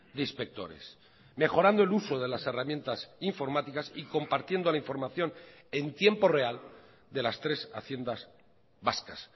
de inspectores mejorando el uso de las herramientas informáticas y compartiendo la información en tiempo real de las tres haciendas vascas